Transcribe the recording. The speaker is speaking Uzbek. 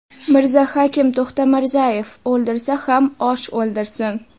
Mirzahakim To‘xtamirzayev: O‘ldirsa ham osh o‘ldirsin.